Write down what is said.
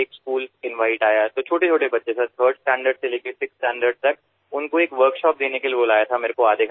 তাত এখন বিদ্যালয়ৰ সৰু সৰু লৰাছোৱালীক তৃতীয় শ্ৰেণীৰ পৰা ষষ্ঠ শ্ৰেণীলৈ আধাঘণ্টাৰ বাবে এক কৰ্মশালালৈ আমন্ত্ৰণ জনোৱা হল